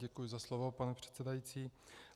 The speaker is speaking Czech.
Děkuji za slovo, pane předsedající.